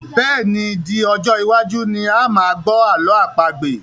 Bẹ́ẹ̀ni, di ọjọ́ iwájú ni a máa gbọ́ ààlọ́ àpagbè